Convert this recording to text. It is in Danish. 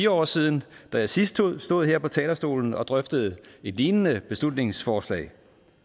år siden da jeg sidst stod stod her på talerstolen og drøftede et lignende beslutningsforslag